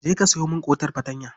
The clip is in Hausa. Je ka sayo min ƙotar fartanya.